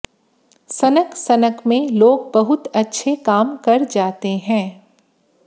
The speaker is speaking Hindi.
सनक सनक में लोग बहुत अच्छे काम कर जाते हैं